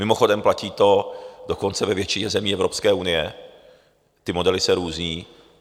Mimochodem, platí to dokonce ve většině zemí Evropské unie, ty modely se různí.